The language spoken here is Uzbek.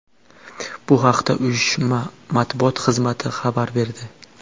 Bu haqda uyushma matbuot xizmati xabar berdi .